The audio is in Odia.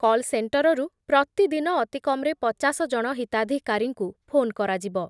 କଲ୍ ସେଣ୍ଟରରୁ ପ୍ରତିଦି ତିଦିନ ଅତିକମ୍‌ରେ ପଚାଶ ଜଣ ହିତାଧିକାରୀଙ୍କୁ ଫୋନ୍ କରାଯିବ ।